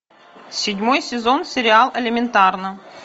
седьмой сезон сериал элементарно